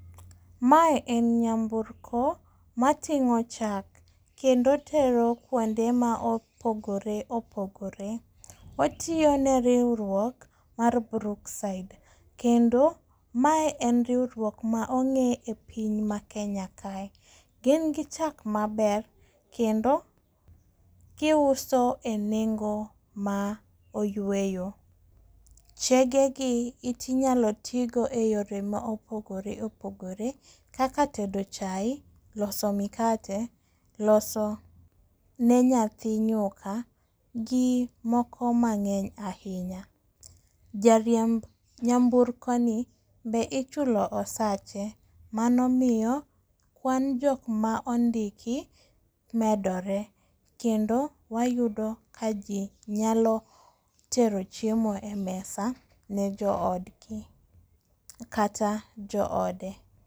Mae en nyamburko mating'o chak kendo otero kuonde ma opogore opogore. Otiyo ne riwruok mar Brookside. Kendo mae en riwruok ma ong'e e piny ma Kenya kae. Gin gi chak maber kendo giuso e nengo ma oyweyo. Chege gi inyalo ti go e yore ma opogore opogore kaka tedo chae, loso mikate, loso ne nyathi nyuka gi moko mang'eny ahinya. Jariemb nyamburko ni be ichulo osache. Mano miyo wan jok ma ondiki medore. Kendo wayudo ka ji nyalo tero chiemo e mesa ne jo odgi kata jo ode.